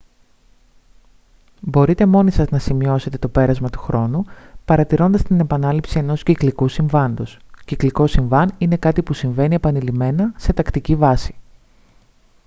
μπορείτε μόνοι σας να σημειώσετε το πέρασμα του χρόνου παρατηρώντας την επανάληψη ενός κυκλικού συμβάντος κυκλικό συμβάν είναι κάτι που συμβαίνει επανειλημμένα σε τακτική βάση